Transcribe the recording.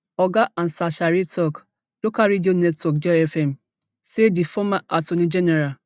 oga ansaasare tok local radio network joyfm say di former attorney general